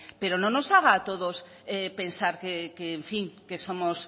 pero no nos haga a todos pensar que en fin que somos